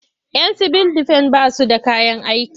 Yan sibil defen ba su da kayan aiki.